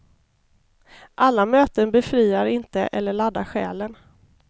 Alla möten befriar inte eller laddar själen.